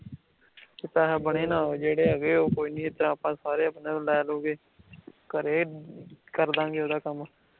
ਪੈਹੇ ਬਣੇ ਨਾ ਹੋਏ, ਜੇੜੇ ਹੈਗੇ ਉਹ ਕੋਈ ਨੀ ਇੱਦਾ ਅੱਪਾ ਸਾਰੇ ਲੈ ਲੁਕੇ, ਘਰੇ, ਕਰ ਦਾਂ ਗੇ ਓਹਦਾ ਕੰਮ